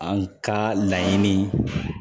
An ka laɲini